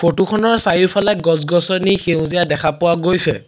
Photo খনৰ চাৰিওফালে গছ গছনি সেউজীয়া দেখা পোৱা গৈছে।